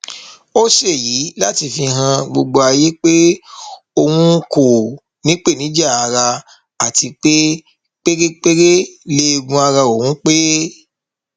ó ṣèyí láti fi han gbogbo ayé pé òun kò nípèníjà ara àti pé pérépéré lẹẹgùn ara òun pé